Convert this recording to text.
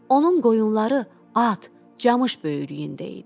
Onun qoyunları at, camış böyürlüyündə idi.